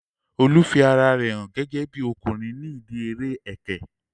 Olu fi ara rẹ hàn gẹ́gẹ́bí ọkùnrin ní ìdíi eré ẹkẹ